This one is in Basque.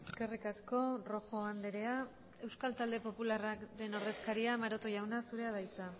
eskerrik asko rojo andrea euskal talde popularrak den ordezkaria maroto jauna zurea da hitza